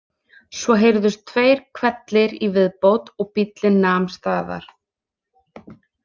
Svo heyrðust tveir hvellir í viðbót og bíllinn nam staðar.